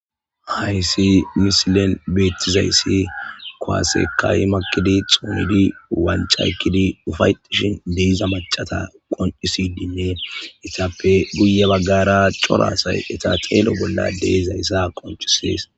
Hayssi misilen beettizayssi koasekay makkidi xuumidi walcaykkidi ufaytishin deiza macata qonisidinne itappe buye baggara coraasay eta xeelo bolla deezayssa qonchisees.